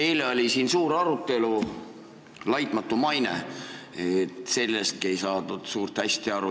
Eile oli siin suur arutelu "laitmatu maine" üle, sellest mõistest ei saadud hästi aru.